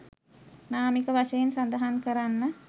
නාමික වශයෙන් සඳහන් කරන්න.